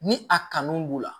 Ni a kanu b'u la